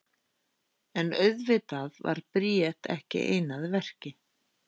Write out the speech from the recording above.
En auðvitað var Bríet ekki ein að verki.